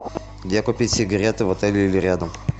где купить сигареты в отеле или рядом